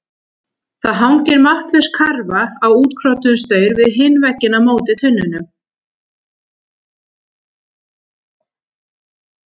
Það hangir máttlaus karfa á útkrotuðum staur við hinn vegginn á móti tunnunum.